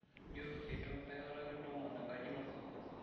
Ijo eitu akata kintoomon enkaji ino?